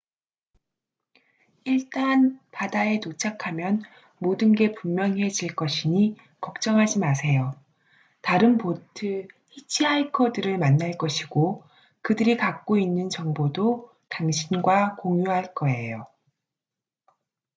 일단 바다에 도착하면 모든 게 분명해질 것이니 걱정하지 마세요 다른 보트 히치하이커들을 만날 것이고 그들이 갖고 있는 정보도 당신과 공유할 거에요